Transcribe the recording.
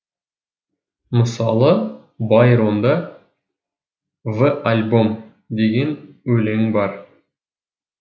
мысалы байронда в альбом деген өлең бар